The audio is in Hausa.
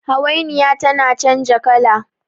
hawainiya tana canja kala